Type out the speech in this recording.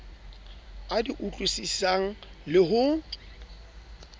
a di utlwisisang le ho